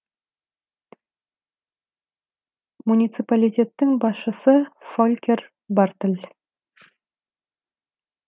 муниципалитеттің басшысы фолькер бартль